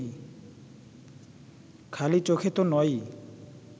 খালি চোখে তো নয়ই